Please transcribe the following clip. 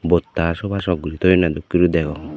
bosta sogasok guri toyonne dokke guri degong.